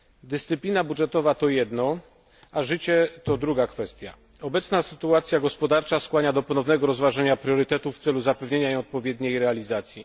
Dyscyplina budżetowa to jedno, a życie to druga kwestia. Obecna sytuacja gospodarcza skłania do ponownego rozważenia priorytetów w celu zapewnienia jej odpowiedniej realizacji.